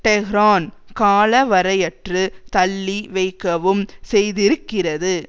Tehran கால வரையற்று தள்ளி வைக்கவும் செய்திருக்கிறது